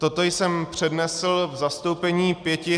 Toto jsem přednesl v zastoupení pěti -